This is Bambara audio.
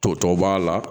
To tɔw b'a la